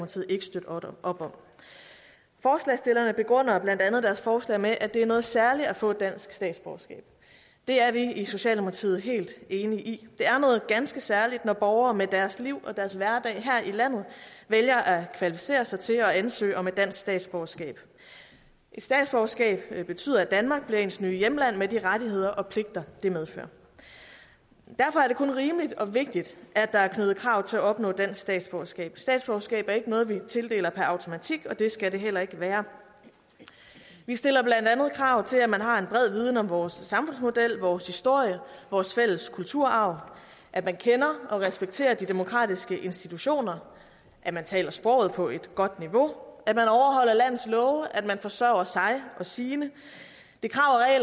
op om forslagsstillerne begrunder blandt andet deres forslag med at det er noget særligt at få dansk statsborgerskab det er vi i socialdemokratiet helt enige i det er noget ganske særligt når borgere med deres liv og deres hverdag her i landet vælger at kvalificere sig til at ansøge om et dansk statsborgerskab et statsborgerskab betyder at danmark bliver ens nye hjemland med de rettigheder og pligter det medfører derfor er det kun rimeligt og vigtigt at der er knyttet krav til at opnå dansk statsborgerskab statsborgerskab er ikke noget vi tildeler per automatik og det skal det heller ikke være vi stiller blandt andet krav til at man har en bred viden om vores samfundsmodel vores historie vores fælles kulturarv at man kender og respekterer de demokratiske institutioner at man taler sproget på et godt niveau at man overholder landets love at man forsørger sig og sine det